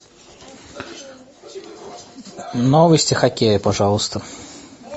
новости хоккея пожалуйста